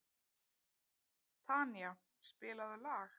Tanía, spilaðu lag.